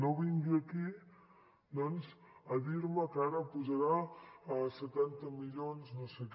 no vingui aquí doncs a dir me que ara posarà setanta milions no sé que